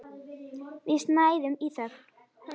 Við snæðum í þögn.